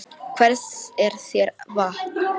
Hvers er þér vant, maður?